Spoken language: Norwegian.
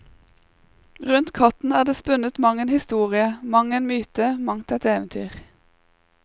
Rundt katten er det spunnet mang en historie, mang en myte, mangt et eventyr.